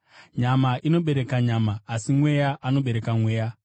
Nyama inobereka nyama, asi Mweya anobereka Mweya.